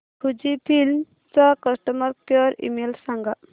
Fujifilm चा customer care email सांगा